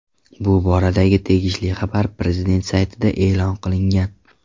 Bu boradagi tegishli xabar prezident saytida e’lon qilingan .